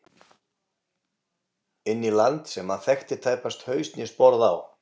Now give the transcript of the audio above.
Inn í land sem hann þekkti tæpast haus né sporð á.